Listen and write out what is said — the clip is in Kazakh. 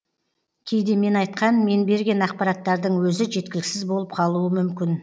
кейде мен айтқан мен берген ақпараттардың өзі жеткіліксіз болып қалуы мүмкін